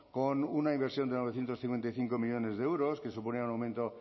con una inversión de novecientos cincuenta y cinco millónes de euros que suponía un aumento